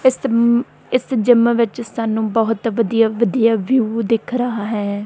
ਇੱਸ ਮੰ ਜਿੱਮ ਵਿੱਚ ਸਾਨੂੰ ਬਹੁਤ ਵਧੀਆ ਵਧੀਆ ਵਿਊ ਦਿੱਖ ਰਿਹਾ ਹੈ।